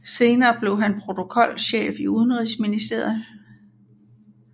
Senere blev han protokolchef i Udenrigsministeriet